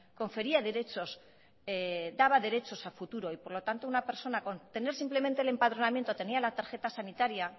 confería derechos daba derechos a futuro y por lo tanto una persona con tener simplemente el empadronamiento tenia la tarjeta sanitaria